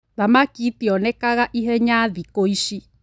Thamaki itionega ihenya thikũici